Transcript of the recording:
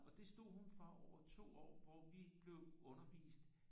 Og det stod hun for over 2 år hvor vi blev undervist